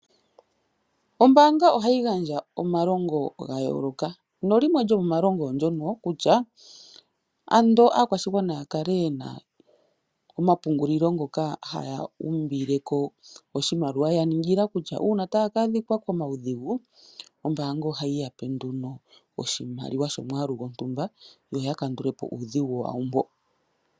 Ombaanga oha yi gandja omalongo ga yooloka, nolimwe djomo ma longo oondjono kutya ando aakwashigwana ya kale ye na omapungulilo ngoka haya umbileko oshimaliwa, ya ningila kutya uuna taya ka adhika komawu dhigu, ombaanga oha yi yape nduno oshimaliwa shomwaalu go shontumba, yo ya kandulepo uudhigu wawo mbo.